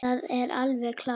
Það er alveg klárt.